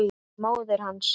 Móðir hans!